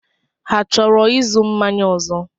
Ha chọrọ ịzụ mmanya ọzọ?